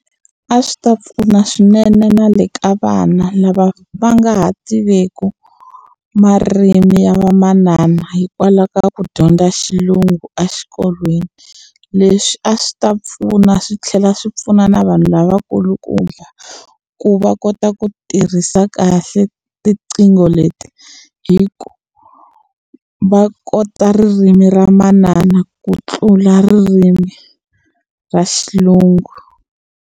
A swi ta pfuna swinene na le ka vana lava va nga ha tiveki marimi ya vamanana hikwalaho ka ku dyondza Xilungu exikolweni leswi a swi ta pfuna swi tlhela swi pfuna na vanhu lavakulukumba ku va kota ku tirhisa kahle tiqingho leti hi ku va kota ririmi ra manana ku tlula ririmi ra Xilungu.